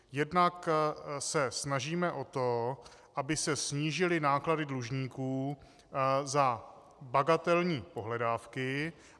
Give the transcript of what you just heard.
Jednak se snažíme o to, aby se snížily náklady dlužníků za bagatelní pohledávky.